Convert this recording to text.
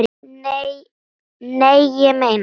Nei, ég meina.